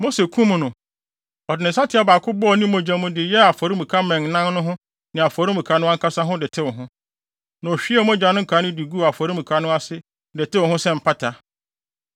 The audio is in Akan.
Mose kum no. Ɔde ne nsateaa baako bɔɔ ne mogya mu de yɛɛ afɔremuka mmɛn nan no ho ne afɔremuka no ankasa ho de tew ho, na ohwiee mogya no nkae no guu afɔremuka no ase de tew ho sɛ mpata.